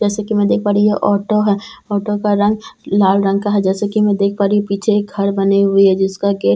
जैसा की मैं देख पा रही हूँ ये ऑटो है ऑटो का रंग लाल रंग का है जैसा की मैं देख पा रही हूँ पीछे एक घर बने हुए हैं जिस का गेट --